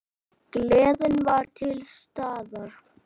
Gleðin var til staðar.